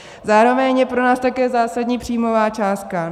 Zároveň je pro nás také zásadní příjmová částka.